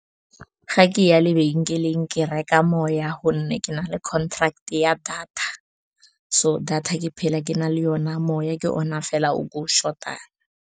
Ga ke ya lebenkeleng, ke reka moya gonne ke na le contract-e ya data. So, data ke phela ke na le yona, moya ke ona fela o ke o short-ang.